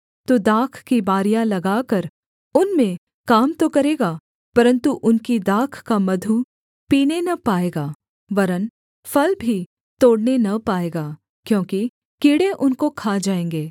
तू दाख की बारियाँ लगाकर उनमें काम तो करेगा परन्तु उनकी दाख का मधु पीने न पाएगा वरन् फल भी तोड़ने न पाएगा क्योंकि कीड़े उनको खा जाएँगे